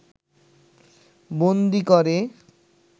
বন্দী করে